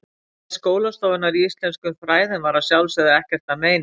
Smæð skólastofunnar í íslenskum fræðum var að sjálfsögðu ekkert að meini.